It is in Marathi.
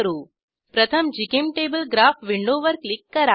प्रथम जीचेम्टेबल ग्राफ विंडोवर क्लिक करा